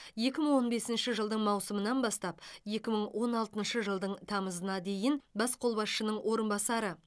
екі мың он бесінші жылдың маусымынан бастап екі мың он алтыншы жылдың тамызына дейін бас қолбасшының орынбасары